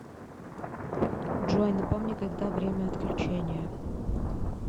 джой напомни когда время отключения